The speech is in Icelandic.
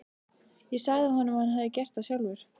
Ég sagði honum að hann hefði gert það sjálfur.